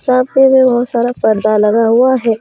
सामने में बहुत सारा पर्दा लगा हुआ है।